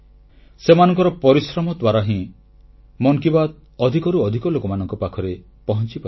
ସେମାନଙ୍କର ପରିଶ୍ରମ ଦ୍ୱାରା ହିଁ ମନ୍ କି ବାତ୍ ଅଧିକରୁ ଅଧିକ ଲୋକମାନଙ୍କ ପାଖରେ ପହଂଚିପାରିଛି